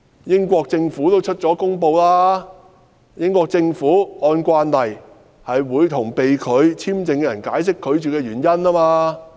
英國政府表示，英國政府按慣例，會向被拒簽證的人解釋拒絕的原因。